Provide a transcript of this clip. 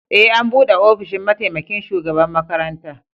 E, an bude ofishin mataimaƙin shugaɓan makaranta.